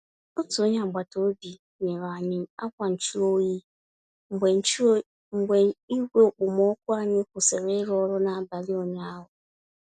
Otú onyé agbata obi nyere anyị akwa nchụ-oyi mgbe nchụ-oyi mgbe igwe okpomọkụ anyị kwụsịrị ịrụ ọrụ n'abalị ụnyaahụ.